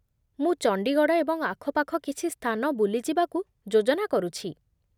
ମୁଁ ଚଣ୍ଡିଗଡ଼ ଏବଂ ଆଖପାଖ କିଛି ସ୍ଥାନ ବୁଲିଯିବାକୁ ଯୋଜନା କରୁଛି।